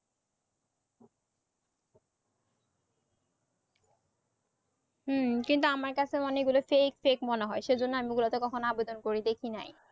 হুম কিন্তু আমার কাছে মানে এইগুলো fake fake মনে হয় সেইজন্য আমি ওগুলাতে কখনো আবেদন করে দেখি নাই